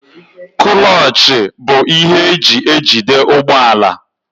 Kúlochi bụ ihe eji ejide ụgbọala.